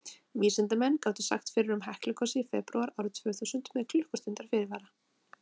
vísindamenn gátu sagt fyrir um heklugosið í febrúar árið tvö þúsund með klukkustundar fyrirvara